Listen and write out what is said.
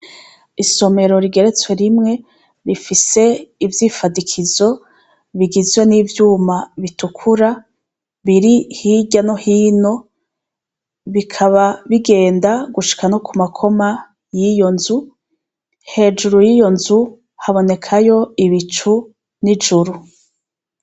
Isomero rigeretswe rimwe rifise ivyifadikizo bigizwe n'ivyuma bitukura biri hirya no hino, bikaba bigenda gushika no ku makoma y'iyo nzu, hejuru y'iyo nzu habonekayo ibicu n'ijuru.